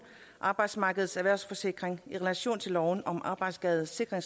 arbejdsmarkedets erhvervssikring i relation til loven om arbejdsskadesikring